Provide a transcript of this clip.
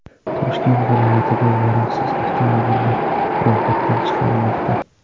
Toshkent viloyatida yaroqsiz avtomobillar ro‘yxatdan chiqarilmoqda.